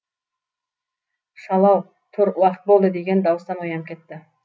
шал ау тұр уақыт болды деген дауыстан оянып кетті